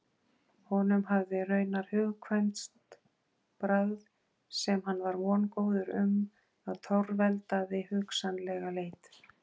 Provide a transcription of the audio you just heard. Honum hafði raunar hugkvæmst bragð sem hann var vongóður um að torveldaði hugsanlega leit.